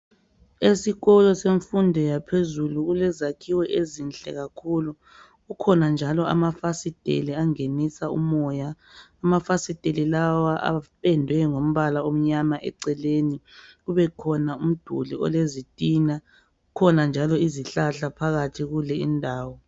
Esikolo semfundo yaphezulu kulezakhiwo ezinhle kakhulu. Kukhona njalo amafasitela angenisa umoya. Amafasitela lawa apendwe ngombala omnyama eceleni kubekhona umduli olezitina. Kukhona njalo izihlahla phakathi kule indawo.